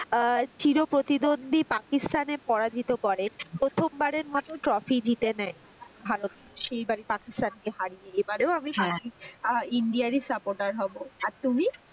আহ চির প্রতিদ্বন্ধি পাকিস্থান এ পরাজিত করে প্রথম বারের মতো trophy জিতে নেয় ভারত সেই বার পাকিস্থানকে হারিয়ে এবারে ইন্ডিয়ার supporter হবো। আর তুমি?